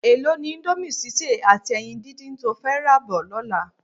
Èló ni íńdómì sísè àti ẹyin díndín to fẹ́ rà bọ̀ lọ́la?